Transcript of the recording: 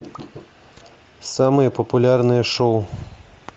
самые популярные шоу